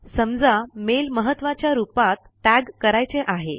समजा मेल महत्वाच्या रुपात टैग करायचे आहे